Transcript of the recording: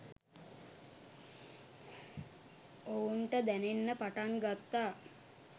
ඔවුන්ට දැනෙන්න පටන් ගත්තා